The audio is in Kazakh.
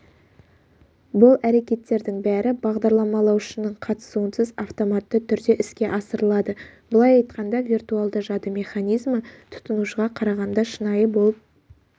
бұл әрекеттердің бәрі бағдарламалаушының қатысуынсыз автоматты түрде іске асырылады былай айтқанда виртуалды жады механизмі тұтынушыға қарағанда шынайы болып